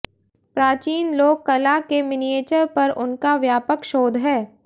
प्राचीन लोक कला के मिनिएचर पर उनका व्यापक शोध है